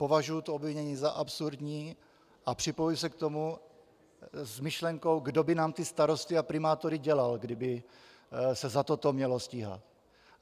Považuji to obvinění za absurdní a připojuji se k tomu s myšlenkou, kdo by nám ty starosty a primátory dělal, kdyby se za toto mělo stíhat.